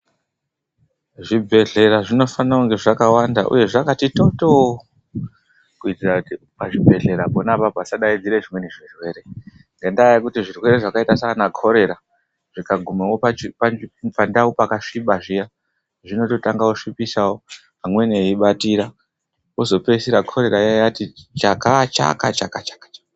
Zvibhedhlera zvinofanira kunge zvakawanda uye zvakati totoo. Kuitira kuti pazvibhedhlera pona apapo pasadaidzire zvimweni zvirwere. Ngendaa yekuti zvirwere zvakaita saana Khorera zvikagumawo pandau pakasviba zviya, zvinototanga kusvipisawo, amweni eibatira. Kozopeisira Khorera iya yati chakachakachakachaka.